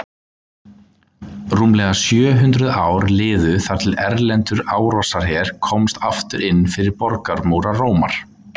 Rúmlega sjö hundruð ár liðu þar til erlendur árásarher komst aftur inn fyrir borgarmúra Rómar.